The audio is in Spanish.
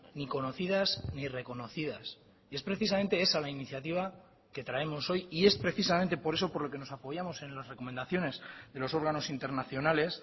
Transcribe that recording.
ni conocidas ni reconocidas y es precisamente esa la iniciativa que traemos hoy y es precisamente por eso por lo que nos apoyamos en las recomendaciones de los órganos internacionales